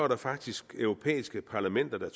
der faktisk europæiske parlamenter der